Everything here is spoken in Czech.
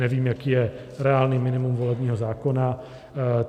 Nevím, jaké je reálné minimum volebního zákona.